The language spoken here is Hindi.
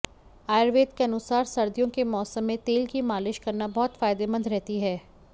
आयुर्वेद के अनुसार सर्दियाें के माैसम में तेल की मालिश करना बहुत फायदेमंद रहती है